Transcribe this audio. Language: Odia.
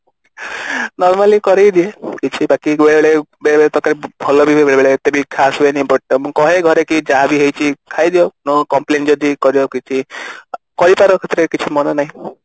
ଆଁ normally କରିକରି ହେଇ ଯାଉଛି ବାକି ବେଳେବେଳେ ବେଳେବେଳେ ତରକାରି ଭଲ ବି ହୁଏ ବେଳେବେଳେ ଏତେ ବି ଖାସ ହୁଏନି but ମୁଁ କହେ ଘରେ କି ଯାହା ବି ହେଇଛି ଖାଇଦିଅ ନହେଲେ complain ଯଦି କରିବ କିଛି କହିପାର ସେଥିରେ କିଛି ମନା ନାଇଁ